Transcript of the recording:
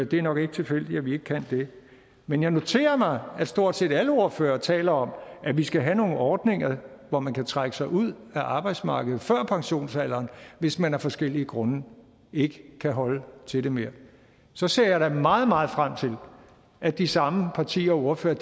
det er nok ikke tilfældigt at vi ikke kan det men jeg noterede mig at stort set alle ordførere taler om at vi skal have nogle ordninger så man kan trække sig ud af arbejdsmarkedet før pensionsalderen hvis man af forskellige grunde ikke kan holde til det mere så ser jeg da meget meget frem til at de samme partier og ordførere